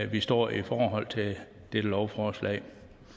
vi står i forhold til dette lovforslag